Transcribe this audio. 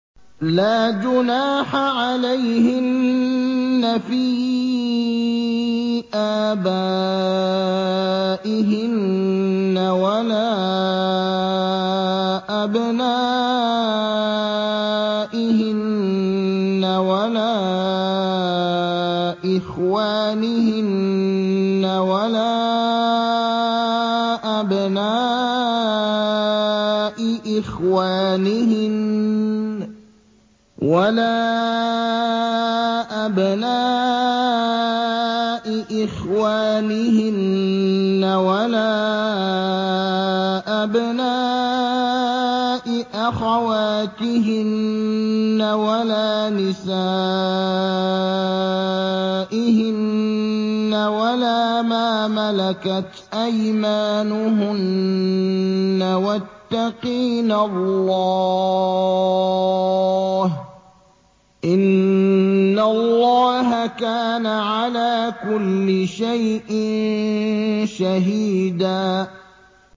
لَّا جُنَاحَ عَلَيْهِنَّ فِي آبَائِهِنَّ وَلَا أَبْنَائِهِنَّ وَلَا إِخْوَانِهِنَّ وَلَا أَبْنَاءِ إِخْوَانِهِنَّ وَلَا أَبْنَاءِ أَخَوَاتِهِنَّ وَلَا نِسَائِهِنَّ وَلَا مَا مَلَكَتْ أَيْمَانُهُنَّ ۗ وَاتَّقِينَ اللَّهَ ۚ إِنَّ اللَّهَ كَانَ عَلَىٰ كُلِّ شَيْءٍ شَهِيدًا